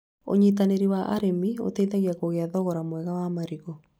ũnyitanĩri wa arĩmi ũteithagia kũgĩa thogora mwega wa marigũ